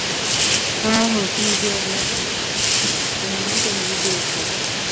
ਆਹੋ ਕੀ ਜੋੜਨਾ ਤੁਸੀਂ ਤੁਸੀਂ ਵੀ ਕੁਝ ਨਹੀਂ ਜੋੜ ਸਕਦੇ